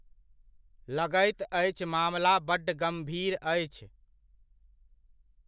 लगैत अछि मामला बड्ड गम्भीर अछि।